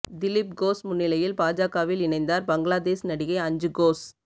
திலிப் கோஷ் முன்னிலையில் பாஜகவில் இணைந்தார் பங்களாதேஷ் நடிகை அஞ்சு கோஷ்